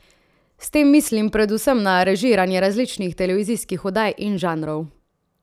S tem mislim predvsem na režiranje različnih televizijskih oddaj in žanrov.